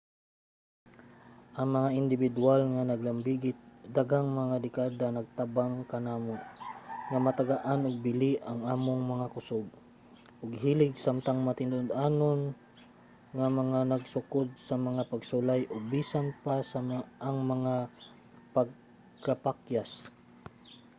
ang mga indibidwal nga nalambigit sa daghang mga dekada nagtabang kanamo nga matagaan og bili ang among mga kusog ug hilig samtang matinud-anon nga nagsukod sa mga pagsulay ug bisan pa ang mga pagkapakyas